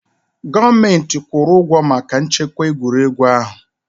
Gọọmenti kwụrụ ụgwọ maka nchekwa egwuregwu ahụ.